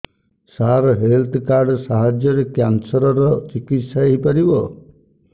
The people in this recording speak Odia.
ସାର ହେଲ୍ଥ କାର୍ଡ ସାହାଯ୍ୟରେ କ୍ୟାନ୍ସର ର ଚିକିତ୍ସା ହେଇପାରିବ